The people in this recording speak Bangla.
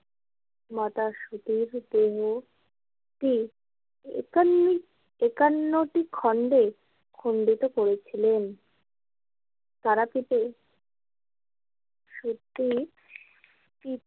মাতা সতীর দেহ টি একান্নটি খণ্ডে খণ্ডিত করেছিলেন তারাপীঠে সতীর।